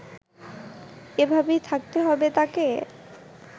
এভাবেই থাকতে হবে তাকে